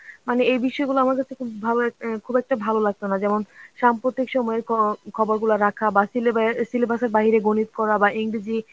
মানে এই বিষয়গুলো আমার কাছে খুব ভালো অ্যাঁ খুব একটা ভালো লাগতো না যেমন সাম্প্রতিক সময়ে খ~ খবর গুলা রাখা বাহঃ syllebus syllebus এর বাইরে গনিত করা বা ইংরেজি